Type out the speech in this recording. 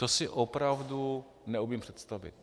To si opravdu neumím představit.